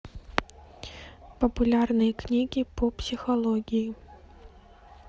популярные книги по психологии